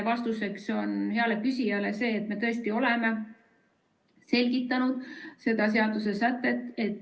Vastuseks heale küsijale on see, et me tõesti oleme selgitanud seda seadusesätet.